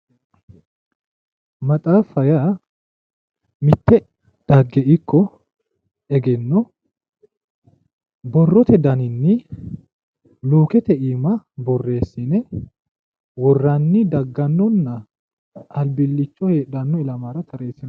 Maxaaffa yaa mitte dhagge ikko egenno borotte daninni luukette iima boreessinne woranni dagannonna albilicho heedhanno ilamara tareesinanni.